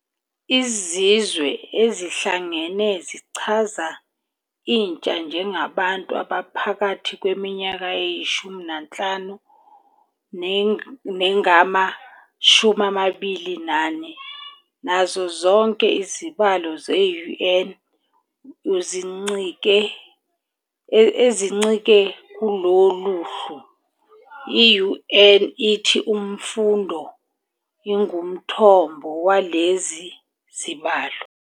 IZizwe Ezihlangene zichaza "intsha" njengabantu abaphakathi kweminyaka eyi-15 nengama-24 nazo zonke izibalo ze-UN ezincike kulolu hlu, i-UN ithi imfundo ingumthombo walezi zibalo.